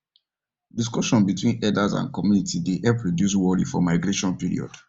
discussion between herders and community dey help reduce worry for migration period